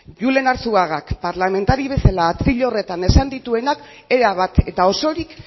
julen arzuagak parlamentari bezala atril horretan esan dituenak erabat eta osorik